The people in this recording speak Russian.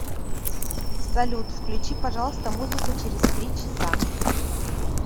салют включи пожалуйста музыку через три часа